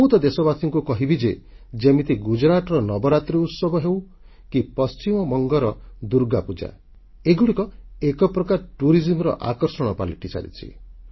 ମୁଁ ତ ଦେଶବାସୀମାନଙ୍କୁ କହିବି ଯେ ଯେମିତି ଗୁଜରାଟର ନବରାତ୍ରୀ ଉତ୍ସବ ହେଉ କି ପଶ୍ଚିମବଙ୍ଗର ଦୁର୍ଗାପୂଜା ଏଗୁଡ଼ିକ ଏକ ପ୍ରକାର ପର୍ଯ୍ୟଟନର ଆକର୍ଷଣ ପାଲଟିସାରିଛି